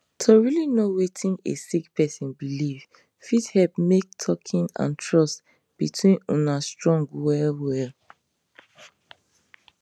to really know wetin a sick person believe fit help make talking and trust between una strong well well